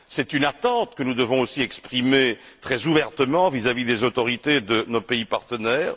C'est une attente que nous devons aussi exprimer très ouvertement vis à vis des autorités de nos pays partenaires.